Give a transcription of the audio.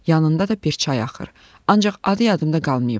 Yanında da bir çay axır, ancaq adı yadımdan qalmayıb.